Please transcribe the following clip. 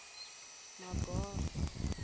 magoro